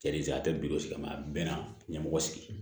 Jadi a tɛ bidigi sigi ma a bɛ na ɲɛmɔgɔ sigi